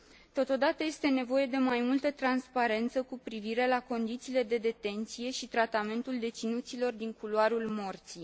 Totodată, este nevoie de mai multă transparență cu privire la condițiile de detenție și tratamentul deținuților din culoarul morții.